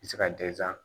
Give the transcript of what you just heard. I bɛ se ka